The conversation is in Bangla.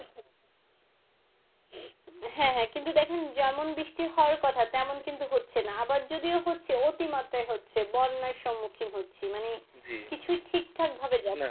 হ্যাঁ হ্যাঁ কিন্তু দেখেন যেমন বৃষ্টি হওয়ার কথা তেমন কিন্তু হচ্ছেনা আবার যদিও হচ্ছে অতি মাত্রায় হচ্ছে বন্যার সম্মুখীন হচ্ছি মানে কিছুই ঠিকঠাক যাচ্ছে না